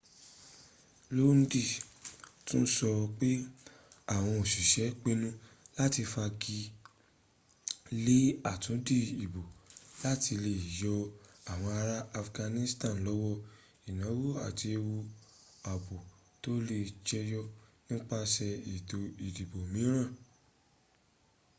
lodin tún sọ pẹ àwọn òsisẹ́ pinu láti fagilé àtúndì ìbò láti le yọ àwọn ará afghanistan lọ́wọ́ ìnáwó àti ewu ààbò tó lè jẹyọ nípasè ètò ìdìbò mìíràn